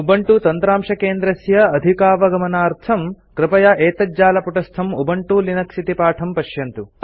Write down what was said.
Ubuntu तन्त्रांशकेन्द्रस्य अधिकावगमनार्थं कृपया एतज्जालपुटस्थं उबुन्तु लिनक्स इति पाठं पश्यतु